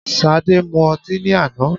Sade drank alcohol yesterday